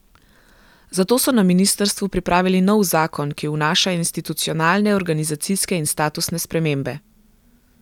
Zato so na ministrstvu pripravili nov zakon, ki vnaša institucionalne, organizacijske in statusne spremembe.